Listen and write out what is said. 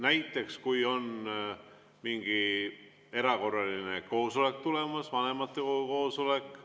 Näiteks siis, kui on mingi erakorraline koosolek tulemas, vanematekogu koosolek.